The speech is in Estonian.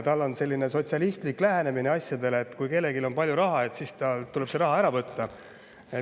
Tal on selline sotsialistlik lähenemine asjadele, et kui kellelgi on palju raha, siis tuleb talt see raha ära võtta.